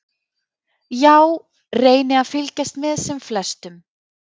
Já reyni að fylgjast með sem flestum.